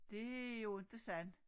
Det jo inte sådan